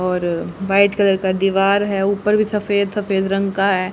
और white colour का दीवार है ऊपर भी सफेद सफेद रंग का है।